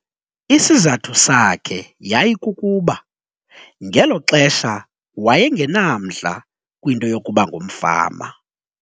Isizathu sakhe yayikukuba ngelo xesha waye ngenamdla kwinto yokuba ngumfama.